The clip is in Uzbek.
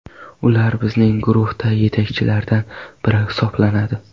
Ular bizning guruhda yetakchilardan biri hisoblanadi.